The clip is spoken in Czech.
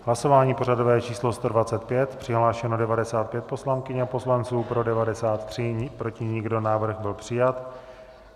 Hlasování pořadové číslo 125, přihlášeno 95 poslankyň a poslanců, pro 93, proti nikdo, návrh byl přijat.